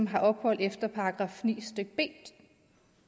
har ophold efter § ni b